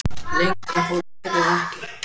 Lengra fór liðið ekki.